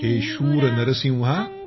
हे शूर नरसिंहा